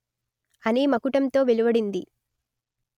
అనే మకుటంతో వెలువడింది